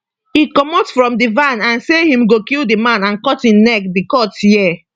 e comot from di van and say im go kill di man and cut im neck di court hear